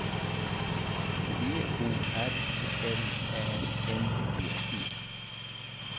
B O R L Ä N G E